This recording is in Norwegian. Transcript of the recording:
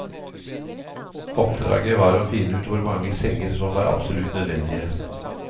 Oppdraget var å finne ut hvor mange senger som var absolutt nødvendige.